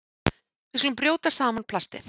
Við skulum brjóta saman plastið.